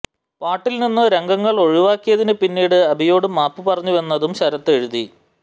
പാട്ടിൽനിന്നു രംഗങ്ങൾ ഒഴിവാക്കിയതിന് പിന്നീട് അബിയോടു മാപ്പു പറഞ്ഞുവെന്നും ശരത് എഴുതി